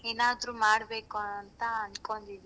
ಏನ್ ಆದ್ರೂ ಮಾಡಬೇಕು ಅಂತ ಅನ್ಕೊಂಡಿದೀನಿ.